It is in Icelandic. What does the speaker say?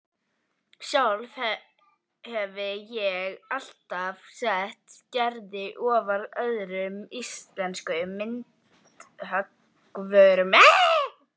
Sjálf hefi ég alltaf sett Gerði ofar öðrum íslenskum myndhöggvurum